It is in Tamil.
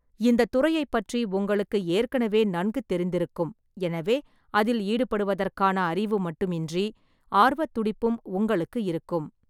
இந்தத் துறையைப் பற்றி உங்களுக்கு ஏற்கனவே நன்கு தெரிந்திருக்கும், எனவே அதில் ஈடுபடுவதற்கான அறிவு மட்டுமின்றி ஆர்வத் துடிப்பும் உங்களுக்கு இருக்கும்.